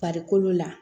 Farikolo la